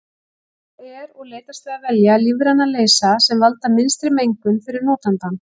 Þá er og leitast við að velja lífræna leysa sem valda minnstri mengun fyrir notandann.